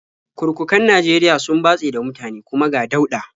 Kurkukan Najeriya sun batse da mutane, kuma ga dauɗa.